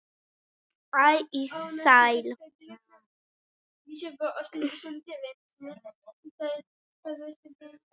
æ í alls